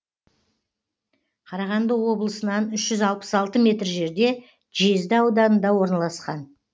қарағанды облысынан үш жүз алпыс алты метр жерде жезді ауданында орналасқан